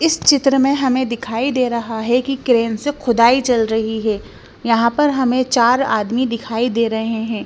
इस चित्र में हमें दिखाई दे रहा है कि क्रेन से खुदाई चल रही है यहाँ पर हमें चार आदमी दिखाई दे रहे हैं।